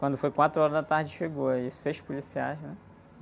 Quando foi quatro horas da tarde chegou aí, seis policiais, né?